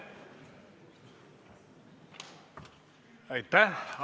Aitäh!